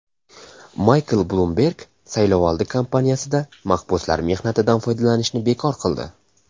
Maykl Blumberg saylovoldi kampaniyasida mahbuslar mehnatidan foydalanishni bekor qildi.